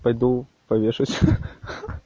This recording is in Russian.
пойду повешусь хи-хи